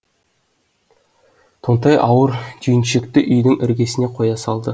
тонтай ауыр түйіншекті үйдің іргесіне қоя салды